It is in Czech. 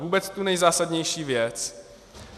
Vůbec ta nejzásadnější věc.